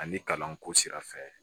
Ani kalanko sira fɛ